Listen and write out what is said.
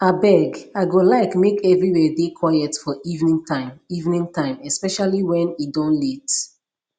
abeg i go like make everywhere dey quiet for evening time evening time especially wen e don late